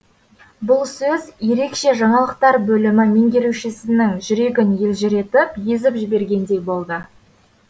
бұл сөз ерекше жаңалықтар бөлімі меңгерушісінің жүрегін елжіретіп езіп жібергендей болды